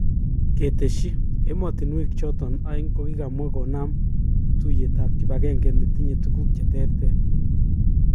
Keteshi, emotunwek choton aeng kokikamwa konam tuyet ab kibagenge netinye tuguk cheterter.